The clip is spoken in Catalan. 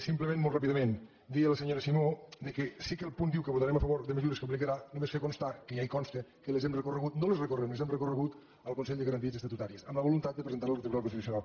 simplement molt ràpidament dir a la senyora simó que sí que el punt diu que votarem a favor de mesures que aplicarà només fer constar que ja hi consta que les hem recorregut no les recorrem les hem recorregut al consell de garanties estatutàries amb la voluntat de presentar ho al tribunal constitucional